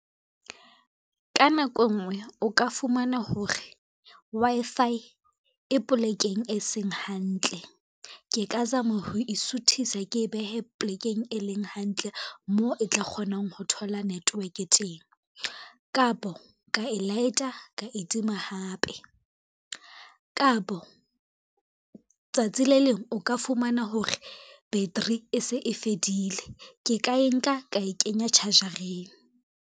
Ka nako e ngwe o ka fumana hore, Wi-Fi e polekeng e seng hantle. Ke ka zama ho isuthisa ke e behe plekeng e leng hantle moo e tla kgonang ho thola network teng. Kapo ka e light-a ka e tima hape, kapo tsatsi le leng o ka fumana hore battery e se e fedile, ke ka e nka ka e kenya charge-reng.